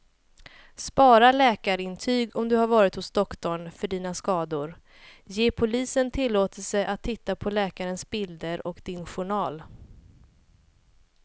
Spara läkarintyg om du varit hos doktorn för dina skador, ge polisen tillåtelse att titta på läkarens bilder och din journal.